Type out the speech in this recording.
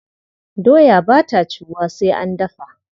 Doya ba ta ciwuwa sai an dafa.